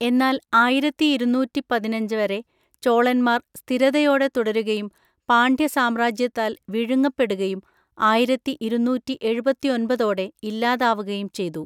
എന്നാൽ ആയിരത്തിഇരുന്നൂറ്റിപതിനഞ്ച് വരെ ചോളന്മാര്‍ സ്ഥിരതയോടെ തുടരുകയും പാണ്ഡ്യ സാമ്രാജ്യത്താല്‍ വിഴുങ്ങപ്പെടുകയും ആയിരത്തിഇരുന്നൂറ്റിഎഴുപത്തിഒൻപതോടെ ഇല്ലാതാവുകയും ചെയ്തു.